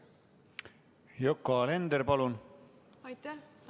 Yoko Alender, palun!